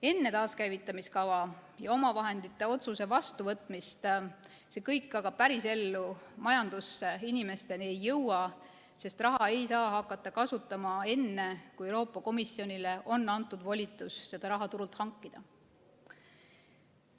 Enne taaskäivitamiskava ja omavahendite otsuse vastuvõtmist see kõik aga päris ellu, majandusse ja inimesteni ei jõua, sest raha ei saa hakata kasutama enne, kui Euroopa Komisjonile on antud volitus seda raha turult hankida.